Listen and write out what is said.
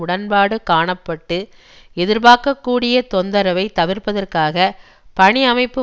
உடன்பாடு காண பட்டு எதிர்பார்க்கக்கூடிய தொந்தரவை தவிர்ப்பதற்காக பணி அமைப்பு